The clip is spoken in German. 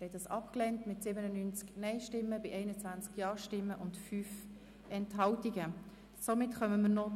Sie haben mit 21 Ja- gegen 97 Nein-Stimmen bei 5 Enthaltungen entschieden, die Motion Löffel-Wenger abzuschreiben.